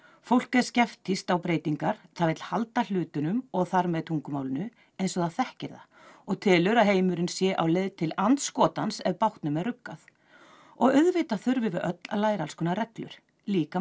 fólk er skeptískt á breytingar það vill halda hlutunum og þar með tungumálinu eins og það þekkir það og telur að heimurinn sé á leið til andskotans ef bátnum er ruggað og auðvitað þurfum við öll að læra alls konar reglur líka